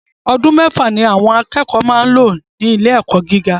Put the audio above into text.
Ọdún mẹ́fà ni àwọn akẹ́kọ̀ọ́ máa ń lò ní ilé ẹ̀kọ́ gíga